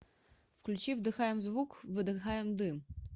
включи вдыхаем звук выдыхаем дым